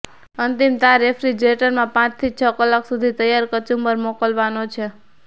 અંતિમ તાર રેફ્રિજરેટરમાં પાંચથી છ કલાક સુધી તૈયાર કચુંબર મોકલવાનો છે